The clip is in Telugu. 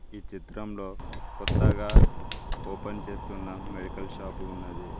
ఈ చిత్రంలో కొత్తగా ఓపెన్ చేస్తున్నా మెడికల్ షాపు ఉన్నది.